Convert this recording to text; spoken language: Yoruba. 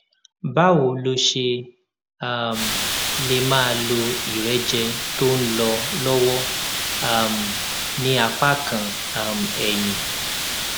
báwo lo ṣe um lè máa lo ìrẹjẹ tó ń lọ lówó um ní apá kan um ẹyin